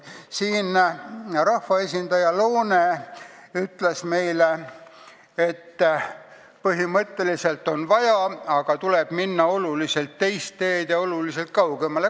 Rahvaesindaja Loone ütles meile, et põhimõtteliselt on seda vaja, aga tuleb minna teist teed ja oluliselt kaugemale.